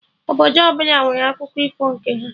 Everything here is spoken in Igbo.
Obodo ọbụla nwere akụko ifo nke ha